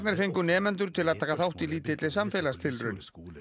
fengu nemendur til að taka þátt í lítilli samfélagstilraun